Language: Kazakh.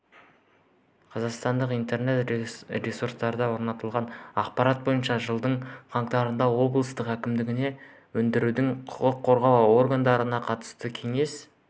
қазақстандық интернет-ресурстарда орналастырылған ақпарат бойынша жылдың қаңтарында облыс әкімдігінде өңірдің құқық қорғау органдарының қатысуымен кеңес